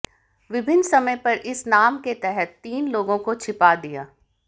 विभिन्न समय पर इस नाम के तहत तीन लोगों को छिपा दिया